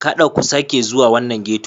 Kaɗa ku sake zuwa wannan ghetto.